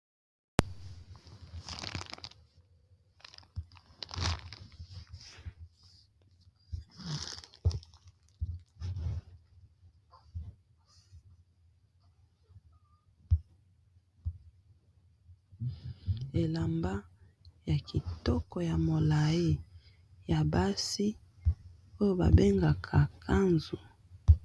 Elamba ya kitoko ya molai ya basi oyo babengaka robe, n'a langi ya motani.